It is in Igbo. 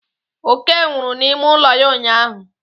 Oke nwụrụ n'ime ụlọ ya ụnyụahụ.